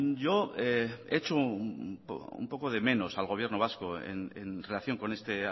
yo he hecho un poco de menos al gobierno vasco en relación con este